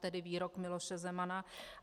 Tedy výrok Miloše Zemana.